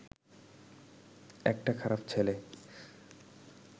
একটা খারাপ ছেলে